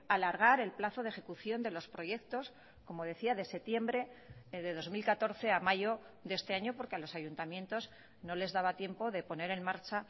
alargar el plazo de ejecución de los proyectos como decía de septiembre de dos mil catorce a mayo de este año porque a los ayuntamientos no les daba tiempo de poner en marcha